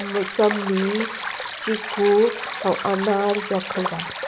मुसमी चीकू व आनार रखल बा।